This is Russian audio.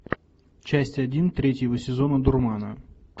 часть один третьего сезона дурмана